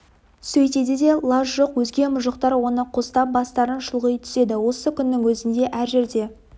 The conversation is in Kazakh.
сөйтеді де лаж жоқ өзге мұжықтар оны қостап бастарын шұлғи түседі осы күннің өзінде әр жерде